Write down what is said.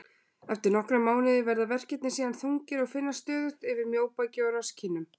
Eftir nokkra mánuði verða verkirnir síðan þungir og finnast stöðugt yfir mjóbaki og rasskinnum.